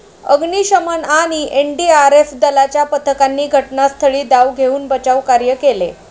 अग्निशमन आणि एनडीआरएफ दलाच्या पथकांनी घटनास्थळी धाव घेऊन बचावकार्य केले.